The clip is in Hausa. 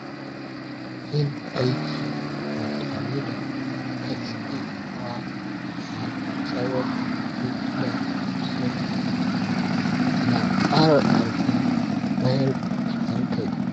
Yin aiki ba tare da katsewa na tsawon mintuna 50 yana ƙara ƙarfin mayar da hankali.